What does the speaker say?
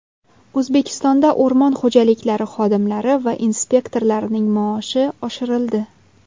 O‘zbekistonda o‘rmon xo‘jaliklari xodimlari va inspektorlarining maoshi oshirildi.